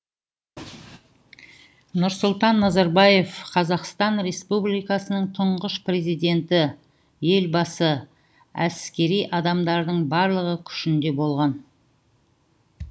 нұрсұлтан назарбаев қазақстан республикасының тұңғыш президенті елбасы әскери адамдардың барлығы күшінде болған